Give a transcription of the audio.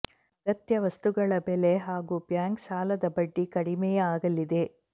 ಅಗತ್ಯ ವಸ್ತುಗಳ ಬೆಲೆ ಹಾಗೂ ಬ್ಯಾಂಕ್ ಸಾಲದ ಬಡ್ಡಿ ಕಡಿಮೆಯಾಗಲಿದೆ